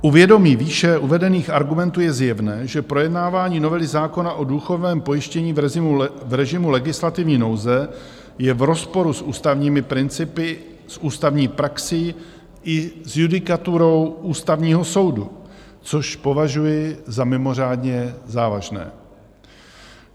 U vědomí výše uvedených argumentů je zjevné, že projednávání novely zákona o důchodovém pojištění v režimu legislativní nouze je v rozporu s ústavními principy, s ústavní praxí i s judikaturou Ústavního soudu, což považuji za mimořádně závažné.